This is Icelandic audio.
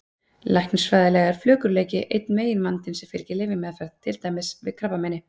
Læknisfræðilega er flökurleiki einn meginvandinn sem fylgir lyfjameðferð, til dæmis við krabbameini.